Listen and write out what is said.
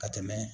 Ka tɛmɛ